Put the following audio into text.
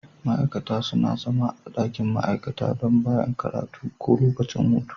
Ma'aikata suna zama a ɗakin ma'aikata bayan karatu ko lokacin lokacin hutu.